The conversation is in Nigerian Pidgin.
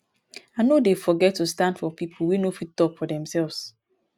i no dey forget to stand for pipo wey no fit tok for demselves